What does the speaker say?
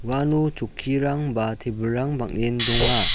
uano chokkirang ba tebilrang bang·en donga.